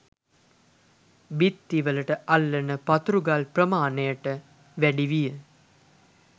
බිත්ති වලට අල්ලන පතුරු ගල් ප්‍රමාණයට වැඩි විය.